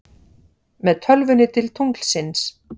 Með tölvunni til tunglsins